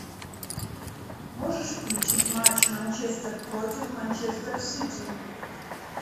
можешь включить матч манчестер против манчестер сити